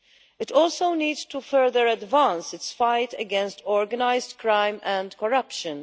It also needs to further advance its fight against organised crime and corruption.